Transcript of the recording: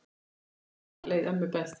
En þarna leið ömmu best.